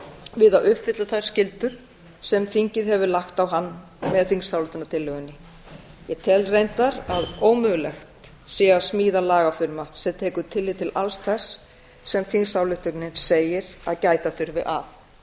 að uppfylla þær skyldur sem þingið hefur lagt á hann með þingsályktunartillögunni ég tel reyndar að ómögulegt sé að smíða lagafrumvarp sem tekur tillit til alls þess sem þingsályktunin segir að gæta þurfi að